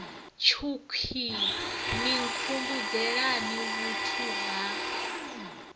tshukhwii ni nkhumbudzelani vhuthu ha